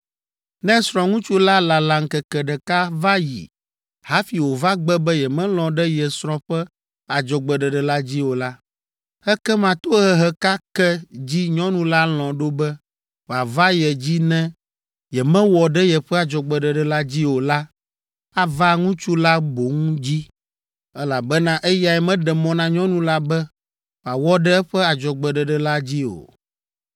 Ne srɔ̃ŋutsu la lala ŋkeke ɖeka va yi hafi wòva gbe be yemelɔ̃ ɖe ye srɔ̃ ƒe adzɔgbeɖeɖe la dzi o la, ekema tohehe ka ke dzi nyɔnu la lɔ̃ ɖo be wòava ye dzi ne yemewɔ ɖe yeƒe adzɔgbeɖeɖe la dzi o la ava ŋutsu la boŋ dzi, elabena eyae meɖe mɔ na nyɔnu la be wòawɔ ɖe eƒe adzɔgbeɖeɖe la dzi o.”